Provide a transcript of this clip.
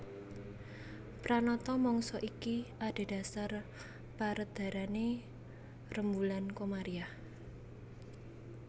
Pranata mangsa iki adhedhasar perédharané rembulan Komariah